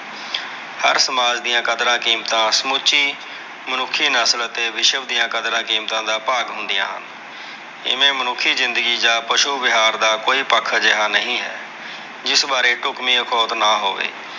ਹਰ ਸਮਾਜ ਦੀਆਂ ਕਦਰਾਂ-ਕੀਮਤਾਂ ਸਮੁਚੀ ਮੁਨੱਖੀ ਨਸਲ ਅਤੇ ਵਿਸ਼ਵ ਦੀਆ ਕਦਰਾਂ-ਕੀਮਤਾਂ ਦਾ ਭਾਗ ਹੁੰਦੀਆਂ ਹਨ। ਜਿਵੇ ਮੁਨੱਖੀ ਜ਼ਿੰਦਗੀ ਜਾਂ, ਪਸ਼ੂ ਵਿਹਾਰ ਦਾ ਕੋਈ ਪੱਖ ਅਜਿਹਾ ਨਹੀਂ ਹੈ। ਜਿਸ ਬਾਰੇ ਡੁਕਵੀ ਅਖੌਤ ਨਾ ਹੋਵੇ।